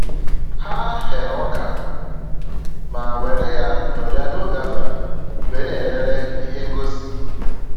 Ha ghere ọka ma were ya nọrịa n'oge abalị wee na-elere ihe ngosi